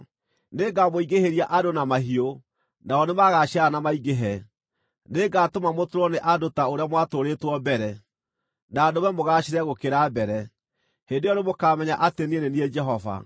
Nĩngamũingĩhĩria andũ na mahiũ, nao nĩmagaciarana na maingĩhe. Nĩngatũma mũtũũrwo nĩ andũ ta ũrĩa mwatũũrĩtwo mbere, na ndũme mũgaacĩre gũkĩra mbere. Hĩndĩ ĩyo nĩmũkamenya atĩ niĩ nĩ niĩ Jehova.